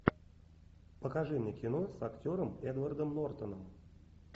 покажи мне кино с актером эдвардом нортоном